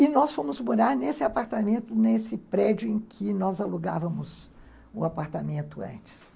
E nós fomos morar nesse apartamento, nesse prédio em que nós alugávamos o apartamento antes.